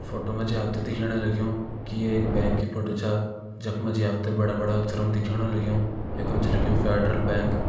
फोटो मा जी आप त दिखेण लग्युं की ये एक बैंक की फोटो छा जख मा जी बड़ा बड़ा अक्षरों मा दिखयोण लग्युं यखम छ लिख्युं फ़ेडरल बैंक ।